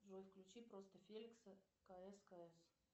джой включи просто феликса кс кс